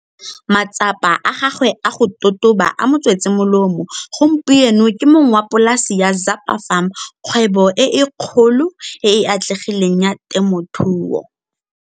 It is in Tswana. Matsapa a gagwe a go totoba a mo tswetse molemo, gompieno ke mong wa polasi ya Zapa Farm, kgwebo e kgolo e e atlegileng ya temothuo.